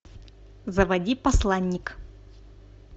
заводи посланник